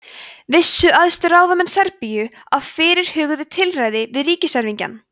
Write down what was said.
vissu æðstu ráðamenn serbíu af fyrirhuguðu tilræði við ríkiserfingjann